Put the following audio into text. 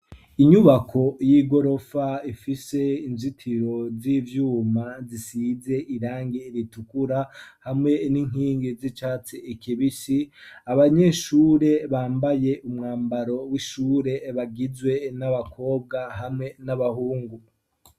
Inyubako y'igorofa ifise inzitiro z'ivyuma zisize irangi ritukura, hamwe n'inkingi z'icatsi kibisi, abanyeshure bambaye umwambaro w'ishure bagizwe n'abakobwa hamwe n'abahungu.